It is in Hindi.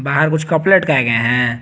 बाहर कुछ कपड़े लटकाए गए हैं।